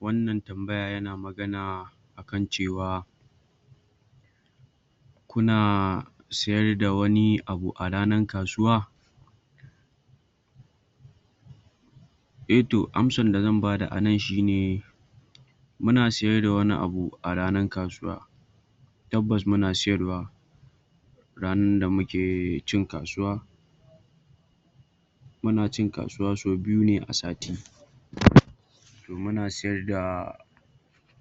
Wannan tambaya yana magana akan cewa kuna sayarda wani abu a ranar kasuwa eh toh amsan da zan bada anan shi ne muna sayarda wani abu a ranar kasuwa tabbas muna sayarwa sayarwa ranan da muke cin kasuwa, Muna cin kasuwa ne so biyune a sati muna sayarda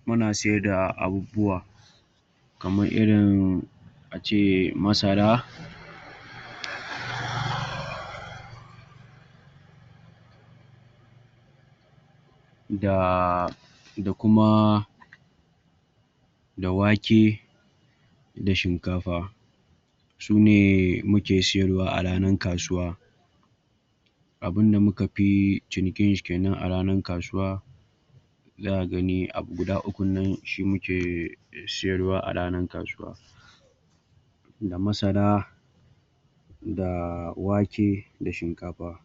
muna sayarda abubuwa kamar irin ace masara da da kuma da wake da shinkafa sune muke sayarwa a ranar kasuwa abunda muka fi cinikin shi kenan a ranar kasuwa zaka gani abu guda ukun shi muke sayarwa a ranar kasuwa da masara da wake da shinkafa,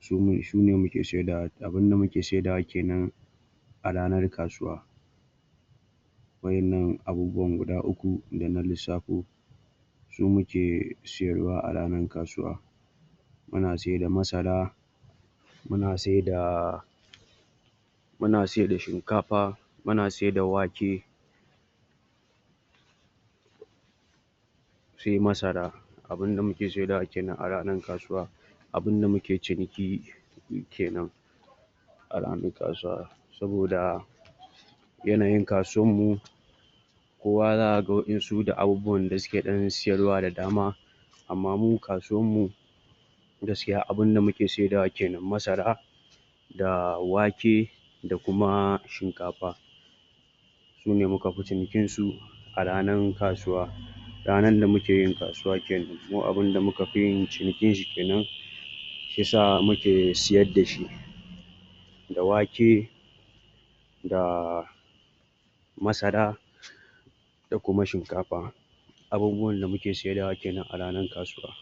shinkafa sune muke saidawa abunda muke saidawa kenan a ranar kasuwa wa'innan abubuwan guda uku da na lissafo su muke sayarwa a ranar kasuwa muna saida masara muna saida muna saida shinkafa muna saida wake sai masara abunda muke saidawa kenan a ranan kasuwa abunda muke ciniki kenan a ranan kasuwa saboda yanayin kasuwanmu kowa zaka ga wa'insu da abubuwan da suke dan sayarwa da dama amma mu kasuwanmu gaskiya abunda muke saidawa kenan masara da wake da kuma shinkafa sune muka fi cinikinsu a ranar kasuwa ranan da muke yin kasuwa kenan kuma abunda muka fi yin cinikinshi kenan shi yasa muke sayarda shi da wake da masara da kuma shinkafa abubuwan da muke saidawa kenan a ranan kasuwarmu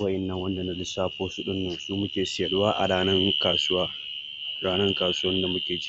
wa'innan da na lissafo su su muke sayarwa a ranan kasuwar mu Ranan kasuwar da muke ci